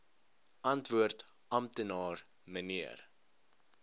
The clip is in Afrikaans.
antwoord amptenaar mnr